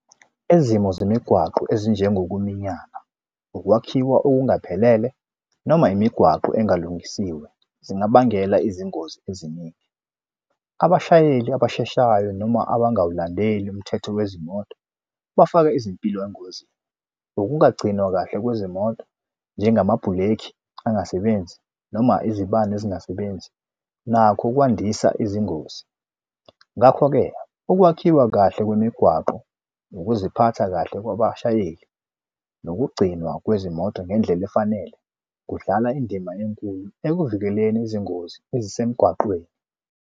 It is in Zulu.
Izimo zemigwaqo ezinjengokuminyana, ukwakhiwa okungaphelele noma imigwaqo engalungisiwe zingabangela izingozi eziningi. Abashayeli abasheshayo noma abangawulandeli umthetho wezimoto bafaka izimpilo engozini. Ukungagcinwa kahle kwezimoto njengamabhuleki angasebenzi noma izibani ezingasebenzi nakho kwandisa izingozi. Ngakho-ke ukwakhiwa kahle kwemigwaqo, ukuziphatha kahle kwabashayeli, nokugcinwa kwezimoto ngendlela efanele kudlala indima enkulu ekuvikeleni izingozi ezisemgwaqeni.